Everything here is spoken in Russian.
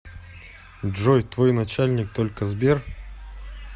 джой твой начальник только сбер